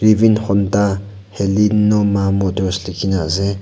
rivin Honda halenoma motors likhina ase.